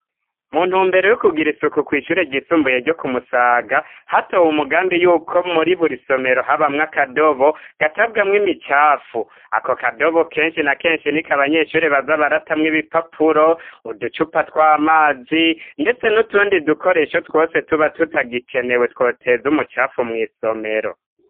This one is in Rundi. Mu ntumbero yo kugira isuku kw'ishure ryisumbuye ryo ku Musaga, hatowe umugambi yuko muri buri somero habamwo akadobo gatabwamwo imicafu. Ako kadobo kenshi na kenshi niko abanyeshuri baza baratamwo ibipapuro, uducupa tw'amazi , ndetse n'utundi dukoresho twose tuba tutagikenewe twoteza umucafu mw' isomero.